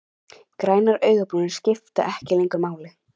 Grænar augnabrúnir skipta ekki lengur máli.